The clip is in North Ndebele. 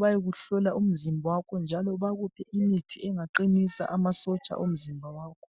bayekuhlola umzimba wakho njalo bakuphe imithi engaqinisa amasotsha womzimba wakho